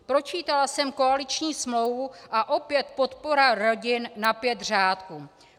Pročítala jsem koaliční smlouvu - a opět podpora rodin na pět řádků.